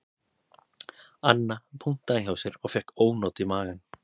Anna punktaði hjá sér og fékk ónot í magann